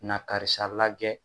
Na karisa lagɛ